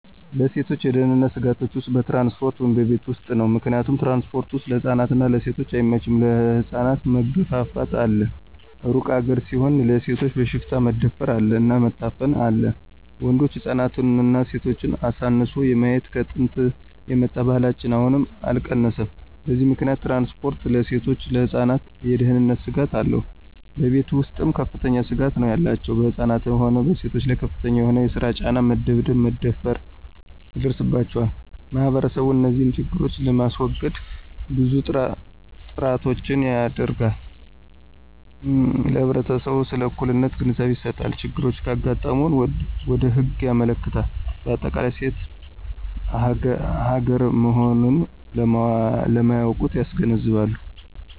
ለሴቶች የደህንነት ስጋቶች ውስጥ በትራንስፖርት ወይም በቤት ውስጥ ነው። ምክንያቱም ትራንስፖርት ወስጥ ለህፃናት እና ለሴቶች አይመቸም ለህፃናት መገፍፍት አለ እሩቅ ሀገር ሲሆድ ለሴቶች በሽፍታ መደፍር አለ እና መታፈን አለ ወንዶች ህፃናትና ሴቶችን አሳንሶ የማየት ከጥንት የመጣ ባህላችን አሁንም አልቀነሰም በዚህ ምከንያት ትራንስፖርት ለሴቶችና ለህፃናት የደህነንት ስጋት አለው። በቤተ ውስጥም ከፍተኛ ስጋት ነው ያላቸው በህፃናትም ሆነ በሴቶች ላይ ከፍተኛ የሆነ የሰራ ጫና፣ መደብደብ፣ መደፈራ ይደርስባቸዋል። ማህበረሰቡ እንዚህን ችግሮች ለማሰወገድ ብዙ ጥራቶችን ያደረጋል ለህብረተሰቡ ስለ እኩልነት ግንዛቤ ይሰጣል፣ ችግሮች ካጋጠሙ ወደ ህግ ያመለክታል በአጠቃላይ ሴት ሀገራ መሆኖን ለማያውቁት ያስገነዝባሉ።